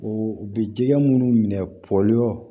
U bɛ jɛgɛ minnu minɛ poli